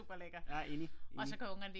Ja enig enig